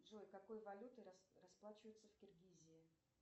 джой какой валютой расплачиваются в киргизии